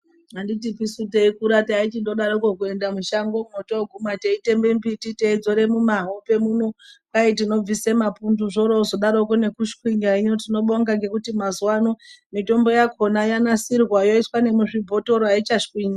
Anditisu teikura taichindodarokwo kuenda mushangomwo teiteme mbiti teizore mumahope muno kwai zvinobvise mapundu zvorozvozodarokwo kushwinya. Hino mazuwa ano mitombo yakhona yogadzirwa. Yoiswa nemuzvibhothoro, ayichashwinyi.